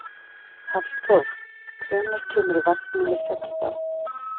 Hallþór, hvenær kemur vagn númer sextán?